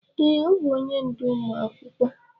Ee, ọbụ onye ndú ụmụ akwụkwọ.